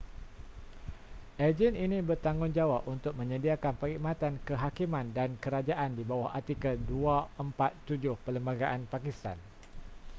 agen ini bertanggungjawab untuk menyediakan perkhidmatan kehakiman dan kerajaan di bawah artikel 247 perlembagaan pakistan